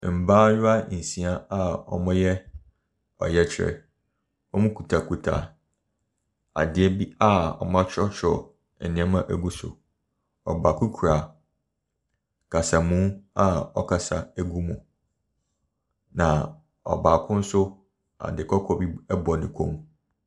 Mmaayewa nsia bi a wɔreyɛ ɔyɛkyerɛ, wɔkitakita adeɛ bni wɔatwerɛtwerɛ bi agu so. Ɔbaako kura kasamu a ɔrekasa ɛgu mu. Na ɔbaako nso ade kɔkɔɔ ɛbɔ ne kɔn mu.